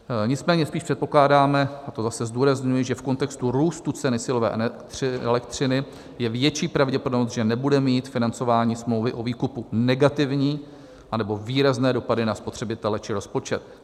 Nicméně spíš předpokládáme - a to zase zdůrazňuji - že v kontextu růstu ceny silové elektřiny je větší pravděpodobnost, že nebude mít financování smlouvy o výkupu negativní nebo výrazné dopady na spotřebitele či rozpočet.